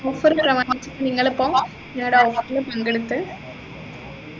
offer പ്രമാണിച്ചു നിങ്ങളിപ്പോ ഞങ്ങളുടെ offer പങ്കെടുത്ത്‌